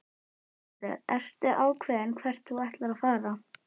Sighvatur: Ertu ákveðinn hvert þú ætlar að fara?